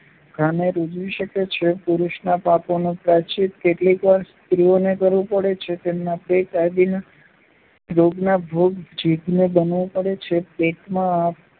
ઘાને રુઝાવી શકે છે. પુરુષનાં પાપોનું પ્રાયશ્ચિત્ત કેટલીક વાર સ્ત્રીને કરવું પડે છે તેમ પેટ આદિના રોગના ભોગ જીભને બનવું પડે છે. પેટમાં અ